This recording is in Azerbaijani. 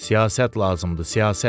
Siyasət lazımdır, siyasət.